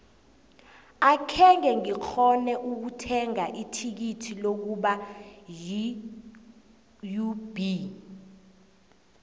akhenge ngikghone ukuthenga ithikithi lokubona iub